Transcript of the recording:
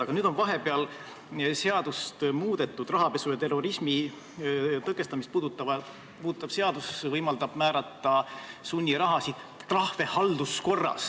Aga nüüd on seadust muudetud, rahapesu ja terrorismi rahastamise tõkestamise seadus võimaldab halduskorras sunniraha ja trahvi määrata.